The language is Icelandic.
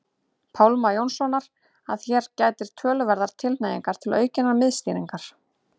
Pálma Jónssonar að hér gætir töluverðrar tilhneigingar til aukinnar miðstýringar.